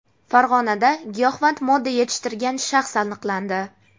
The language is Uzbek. Farg‘onada giyohvand modda yetishtirgan shaxs aniqlandi.